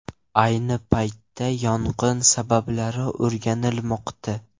Ayni paytda yong‘in sabablari o‘rganilmoqda.